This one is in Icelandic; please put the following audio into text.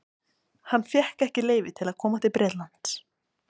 Hann fékk ekki leyfi til að koma til Bretlands.